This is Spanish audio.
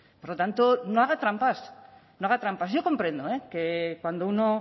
por lo tanto no haga trampas no haga trampas yo comprendo que cuando uno